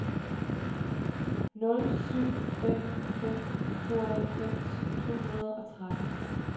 nul syv fem fem tooghalvfems to hundrede og tretten